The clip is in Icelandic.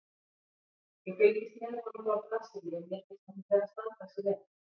Ég fylgist með honum frá Brasilíu og mér finnst hann vera að standa sig vel.